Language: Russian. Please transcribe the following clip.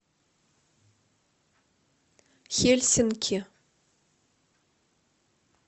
хельсинки